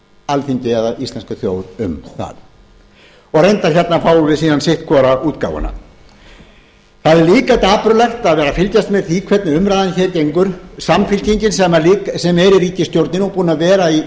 upplýsa alþingi eða íslenska þjóð um það reyndar fáum við síðan hérna sitt hvora útgáfuna það er líka dapurlegt að vera að fylgjast með því hvernig umræðan hér gengur samfylkingin sem er í ríkisstjórninni og búin að vera